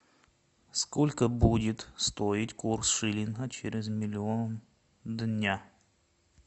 сколько будет стоить курс шиллинга через миллион дня